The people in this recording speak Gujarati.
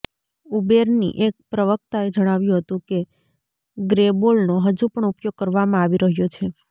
ઉબેરની એક પ્રવક્તાએ જણાવ્યું હતું કે ગ્રેબોલનો હજુ પણ ઉપયોગ કરવામાં આવી રહ્યો છે